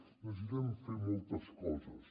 necessitem fer moltes coses